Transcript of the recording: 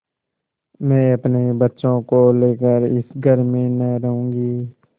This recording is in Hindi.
मैं अपने बच्चों को लेकर इस घर में न रहूँगी